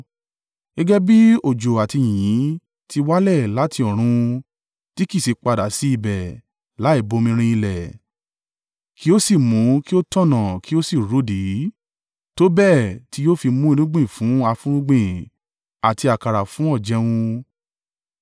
Gẹ́gẹ́ bí òjò àti yìnyín ti wálẹ̀ láti ọ̀run tí kì í sì padà sí ibẹ̀ láì bomirin ilẹ̀ kí ó sì mú kí ó tanná kí ó sì rudi, tó bẹ́ẹ̀ tí yóò fi mú irúgbìn fún afúnrúgbìn àti àkàrà fún ọ̀jẹun,